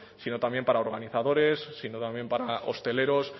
sino también para organizadores también para hosteleros